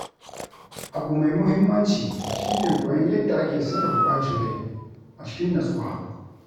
Abu mai muhimmanci shi ne koyon yadda ake sarrafa ɓacin rai a cikin natsuwa.